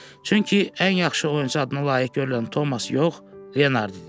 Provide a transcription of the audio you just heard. Çünki ən yaxşı oyunçu adına layiq görülən Tomas yox, Leonard idi.